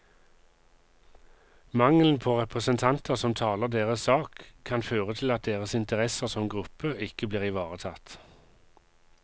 Mangelen på representanter som taler deres sak, kan føre til at deres interesser som gruppe ikke blir ivaretatt.